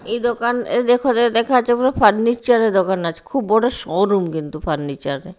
এই দোকান এ দেখ দেখা যাচ্ছে বড় ফান্নিচার -এর দোকান আছে খুব বড় শোরুম কিন্তু ফান্নিচার -এর।